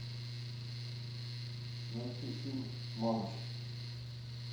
найти фильм мамочки